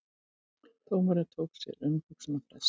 Dómari tók sér umhugsunarfrest